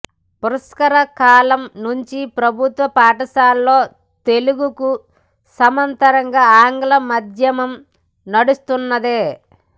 పుష్కర కాలం నుంచి ప్రభుత్వ పాఠశాలల్లో తెలుగుకు సమాంతరంగా ఆంగ్ల మాధ్యమం నడుస్తున్నదే